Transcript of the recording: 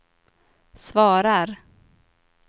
svarar